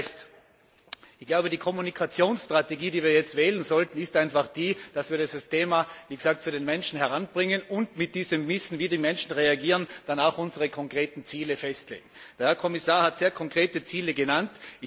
Das heißt Ich glaube, die Kommunikationsstrategie, die wir jetzt wählen sollten, ist einfach die, dass wir das Thema wie gesagt an die Menschen heranbringen und mit diesem Wissen, wie die Menschen reagieren, dann auch unsere konkreten Ziele festlegen. Der Herr Kommissar hat sehr konkrete Ziele genannt.